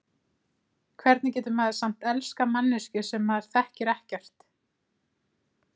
Hvernig getur maður samt elskað manneskju sem maður þekkir ekkert?